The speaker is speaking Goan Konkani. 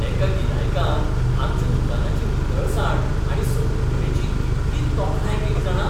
एका गिरायकान आमच्या दुकानाची नितळसाण आनी संघटणेची कितली तोखणाय केली जाणा.